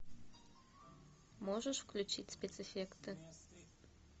можешь включить спецэффекты